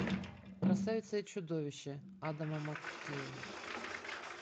красавица и чудовище адама маккея